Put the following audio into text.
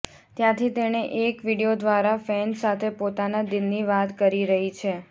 ત્યાંથી તેણે એક વીડિયો દ્વારા ફેન્સ સાથે પોતાના દિલની વાત કરી રહી છે